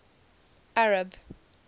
arab